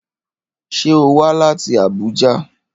Ṣé o wá láti Abuja?